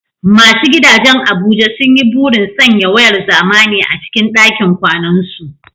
Masu gidajen Abuja sun yi burin sanya wayar zamani a cikin dakin kwanansu.